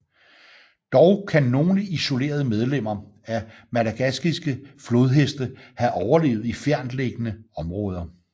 Dog kan nogle isolerede medlemmer af madagaskiske flodheste have overlevet i fjerntliggende områder